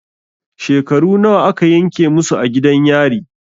Shekaru nawa a ka yanke musu a gidan yari?